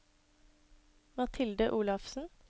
Mathilde Olafsen